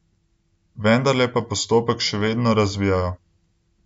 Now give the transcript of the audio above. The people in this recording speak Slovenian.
Vendarle pa postopek še vedno razvijajo.